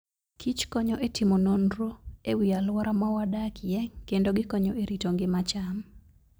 kich konyo e timo nonro e wi alwora ma wadakie kendo gikonyo e rito ngima cham.